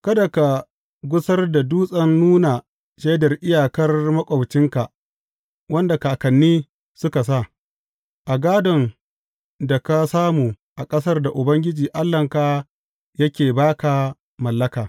Kada ka gusar da dutsen nuna shaidar iyakar maƙwabcinka wanda kakanni suka sa, a gādon da ka samu a ƙasar da Ubangiji Allahnka yake ba ka mallaka.